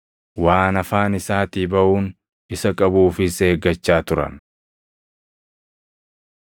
Waan afaan isaatii baʼuun isa qabuufis eeggachaa turan.